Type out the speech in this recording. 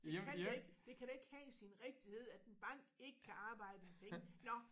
Det kan da ikke det kan da ikke have sin rigtighed at en bank ikke kan arbejde med penge nåh